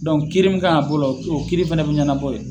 kiiri min kan ka k'o la o kiiri fana bɛ ɲɛnabɔ ye